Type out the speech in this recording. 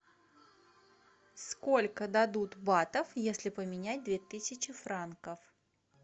сколько дадут батов если поменять две тысячи франков